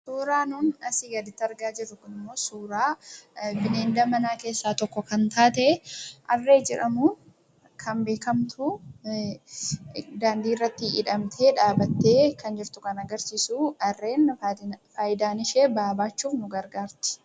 Suuraan nuun asii gaditti argaa jirru kun immoo, suuraa bineelda manaa keessaa tokko kan taate Harree jedhamuun kan beekamtuu daandii irratti hidhamtee dhaabbattee kan jirtu kan agarsiisu. Harreen faayidaan ishee ba'aa baachuuf nu gargaarti.